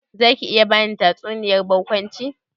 Zaki iya bani tatsuniyar barkwanci?